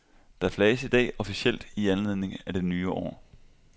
Der flages i dag officielt i anledning af det nye år.